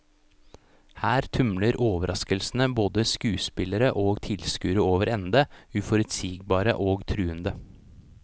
Her tumler overraskelsene både skuespillere og tilskuere over ende, uforutsigbare og truende.